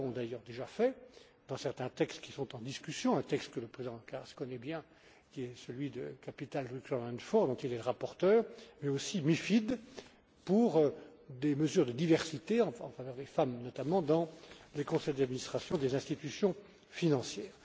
Nous l'avons d'ailleurs déjà fait dans certains textes qui sont en discussion un texte que le président Karas connaît bien le CRD 4, dont il est le rapporteur et le MiFID, pour des mesures de diversité en faveur des femmes, notamment, dans les conseils d'administration des institutions financières.